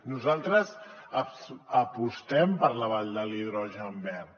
nosaltres apostem per la vall de l’hidrogen verd